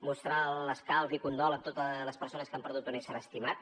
mostrar l’escalf i condol a totes les persones que han perdut un ésser estimat